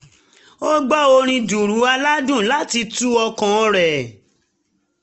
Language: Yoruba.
ó gbọ orin dùùrù aládùn láti tu ọkàn rẹ̀